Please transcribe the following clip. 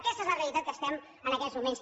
aquesta és la realitat en què estem en aquests moments